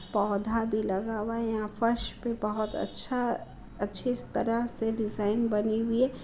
पौधा भी लगा हुआ है। यहाँ फ़र्श पे बोहत अच्छा अच्छी तरह से डिज़ाइन बनी हुई है।